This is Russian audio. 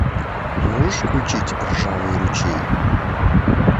можешь включить ржавый ручей